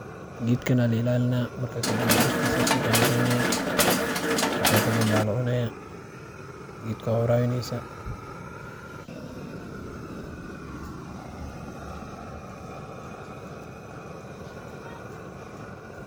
Geedkaan ala ilalinaa, marka kadaambe dirtisa ayaa suqa lageynaayaa, markaa kadanbee waa lacunayaa, geedka waa warawineysaa.